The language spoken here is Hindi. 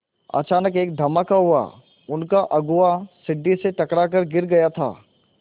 अचानक एक धमाका हुआ उनका अगुआ सीढ़ी से टकरा कर गिर गया था